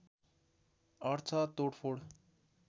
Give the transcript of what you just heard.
अर्थ तोडफोड